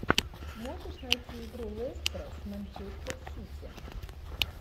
можешь найти игру лестера с манчестер сити